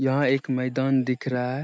यहाँ एक मैदान दिख रहा हैं।